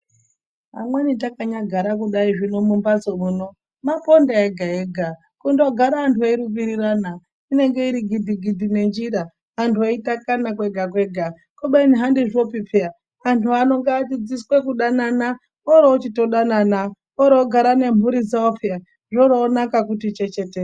Amweni takanyagara kudai zvino mumbatso muno maponda ega ega kundogara antu eirumbirorana inenge irigidhi gidhi ngenjira antu eirumbirirana antu eitakana kwega kwega kubeni handizvopi peya antu ano ngatidzidziswe kudanana orochitodanana orochigara nemhuri dzawo peya zvoronaka kuti chechetere.